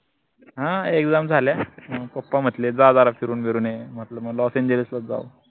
हां exam झाल्या पप्पा म्हटले जा जरा फिरून विरून ये म्हटल म लॉस एंजिल्सलाच जाव